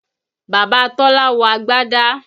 Bàbá Tọ́lá wọ agbâdá